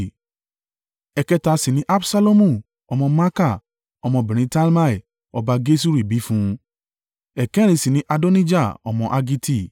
ẹ̀kẹta sì ni Absalomu ọmọ Maaka ọmọbìnrin Talmai ọba Geṣuri bí fún un; ẹ̀kẹrin sì ni Adonijah ọmọ Haggiti;